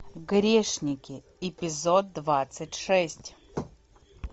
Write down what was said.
грешники эпизод двадцать шесть